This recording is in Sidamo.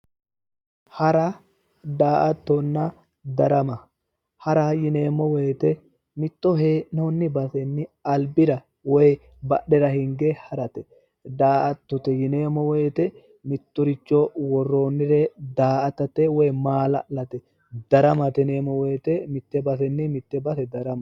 Hara daa"attonna darama hara yineemmo woyite mitto hee'noonni basenni albira woy badhera hinge harate daa'attote yineemmo woyite mittoricho worroonnire daa"atate woyi maa'la'late daramate yineemmo wote mitte basenni mitte base daramate.